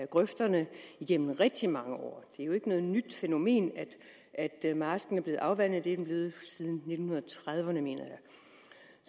grøfterne igennem rigtig mange år det er jo ikke noget nyt fænomen at marsken bliver afvandet det er den blevet siden nitten trediverne mener